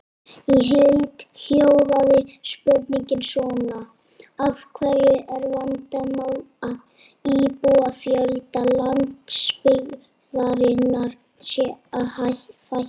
Í heild hljóðaði spurningin svona: Af hverju er vandamál að íbúafjölda landsbyggðarinnar sé að fækka?